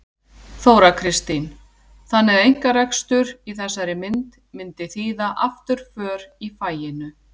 Þóra Kristín: Þannig að einkarekstur í þessari mynd myndi þýða afturför í faginu?